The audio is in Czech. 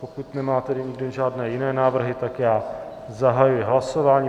Pokud nemá tedy nikdo žádné jiné návrhy, tak já zahajuji hlasování.